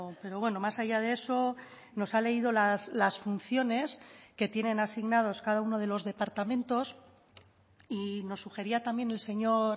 pero bueno más allá de eso nos ha leído las funciones que tienen asignados cada uno de los departamentos y nos sugería también el señor